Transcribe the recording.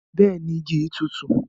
Bẹẹni, igi yi tùtù.